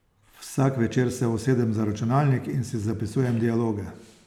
Vsak večer se usedem za računalnik in si zapisujem dialoge.